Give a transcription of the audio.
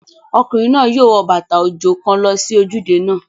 Ọkùnrin náà yóò wo bàtà òjò kan lọ sí ojúde náà